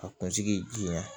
A kunsigi jira